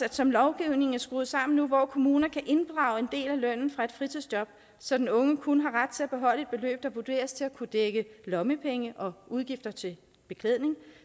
at som lovgivningen er skruet sammen nu hvor kommuner kan inddrage en del af lønnen fra et fritidsjob så den unge kun har ret til at beholde et beløb der vurderes til at kunne dække lommepenge og udgifter til beklædning